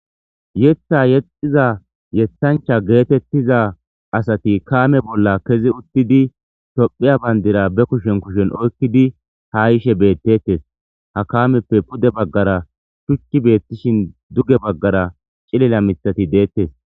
Yetha yexxiza yeshancha geetettiza asati kaame bolla kezi uttidi tophiya bayndira be kushen kushen oykkidi ha yishe beettettes ha kaameppe pude baggara shuchci beettishin duge baggara cilila mithati deettes